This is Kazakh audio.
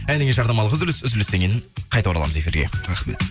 әннен кейін жарнамалық үзіліс үзілістен кейін қайта ораламыз эфирге рахмет